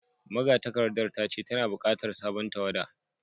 Magatakardar ta ce tana bukatar sabon tawada